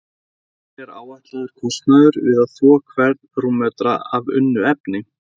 Hver er áætlaður kostnaður við að þvo hvern rúmmetra af unnu efni?